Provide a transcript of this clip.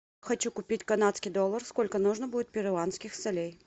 хочу купить канадский доллар сколько нужно будет перуанских солей